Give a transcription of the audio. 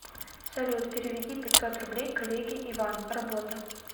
салют переведи пятьсот рублей коллеге иван работа